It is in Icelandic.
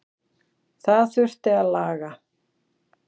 Það þurfi að laga.